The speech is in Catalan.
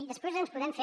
i després ens podem fer